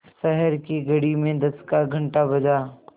शहर की घड़ी में दस का घण्टा बजा